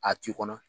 A t'i kɔnɔ